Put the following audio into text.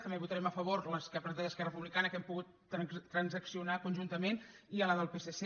també votarem a favor les que ha presentat esquerra republicana que hem pogut transaccionar conjuntament i la del psc